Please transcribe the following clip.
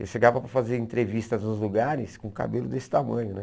Eu chegava para fazer entrevistas nos lugares com cabelo desse tamanho, né?